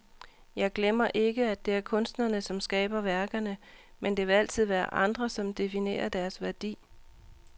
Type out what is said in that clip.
Jeg glemmer ikke, at det er kunstnerne, som skaber værkerne, men det vil altid være andre, som definerer deres værdi.